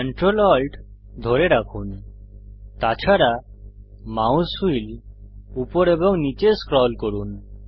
ctrl alt ধরে রাখুন তাছাড়া মাউস হুইল উপর এবং নীচে স্ক্রল করুন